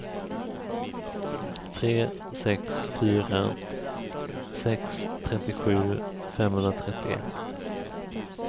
tre sex fyra sex trettiosju femhundratrettioett